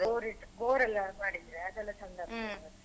Bore ದ್ ಬೋರೆಲ್ಲ ಮಾಡಿದ್ರೆ ಅದೆಲ್ಲ ಚಂದ ಆಗ್ತದೆ.